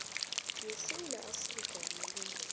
yesewula afrika yamalungelo